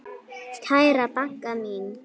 Kæra Bagga mín.